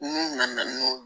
N'u nana n'o